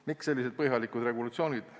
" Miks sellised põhjalikud regulatsioonid?